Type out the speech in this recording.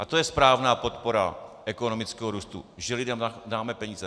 A to je správná podpora ekonomického růstu, že lidem dáme peníze.